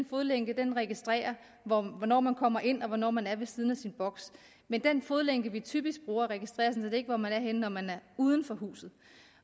fodlænke registrerer hvornår man kommer ind og hvornår man er ved siden af sin boks men den fodlænke vi typisk bruger registrerer sådan set ikke hvor man er henne når man er uden for huset